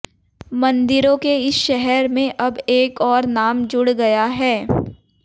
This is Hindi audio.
मंदिरों के इस शहर में अब एक और नाम जुड़ गया है